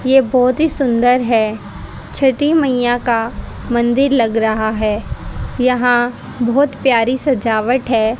ये बहोत ही सुंदर है छठी मैया का मंदिर लग रहा है यहां बहोत प्यारी सजावट है।